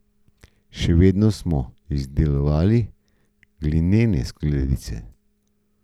Še vedno smo izdelovali glinene skledice.